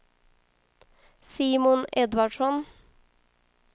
Simon Edvardsson